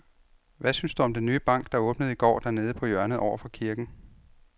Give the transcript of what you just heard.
Hvad synes du om den nye bank, der åbnede i går dernede på hjørnet over for kirken?